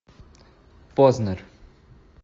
познер